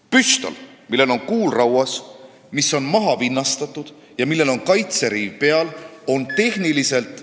Püstol, millel on kuul rauas, mis on mahavinnastatud ja millel on kaitseriiv peal, on tehniliselt ...